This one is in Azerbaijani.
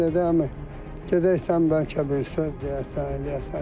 Dedi əmi gedək sən bəlkə bir söz deyəsən, eləyəsən.